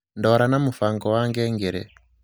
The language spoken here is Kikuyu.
ndwara na mūfango wa ngengere